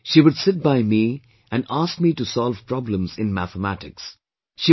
Yet, she would sit by me and ask me to solve problems in Mathematics